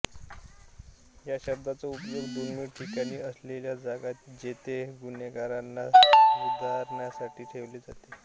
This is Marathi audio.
या शब्दाचा उपयोग दुर्गम ठिकाणी असलेल्या जागा जेथे गुन्हेगारांना सुधारण्यासाठी ठेवले जाते